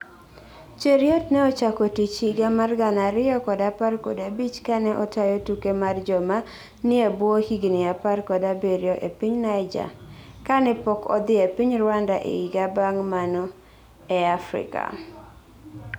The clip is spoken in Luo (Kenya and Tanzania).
Cheruiyot ne ochako tich higa mar gana ariyo kod apar kod abich kane otayo tuke mar joma nie ebwo higni apar kod abiriyo epiny Niger kane pok odhi e piny Rwanda e higa bang mano e Afrika